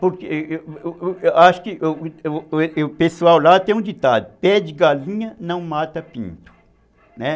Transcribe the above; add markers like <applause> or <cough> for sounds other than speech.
Porque <hesitation> eu acho <hesitation> que o pessoal <hesitation> lá tem um ditado, pede galinha, não mata pinto, né.